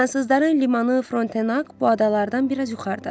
Fransızların limanı Frontenak bu adalardan biraz yuxarıdadır.